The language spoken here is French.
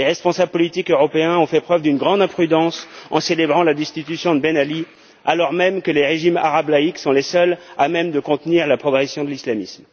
Les responsables politiques européens ont fait preuve d'une grande imprudence en célébrant la destitution de Ben Ali, alors même que les régimes arabes laïcs sont les seuls à même de contenir la progression de l'islamisme.